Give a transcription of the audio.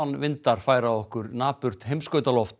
norðanvindar færa okkur napurt